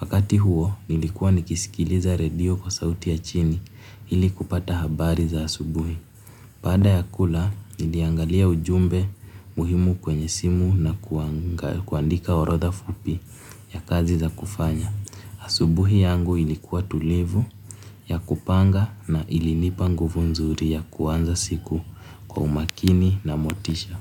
Wakati huo nilikuwa nikisikiliza radio kwa sauti ya chini ili kupata habari za asubuhi. Baada ya kula, niliangalia ujumbe muhimu kwenye simu na kuandika orodha fupi ya kazi za kufanya. Asubuhi yangu ilikuwa tulivu ya kupanga na ilinipa nguvu nzuri ya kuanza siku kwa umakini na motisha.